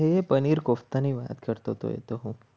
એ પનીર કોફતા ની વાત કરતો તો એ તો હું